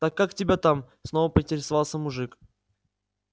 так как тебя там снова поинтересовался мужик